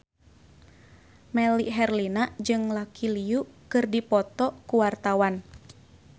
Melly Herlina jeung Lucy Liu keur dipoto ku wartawan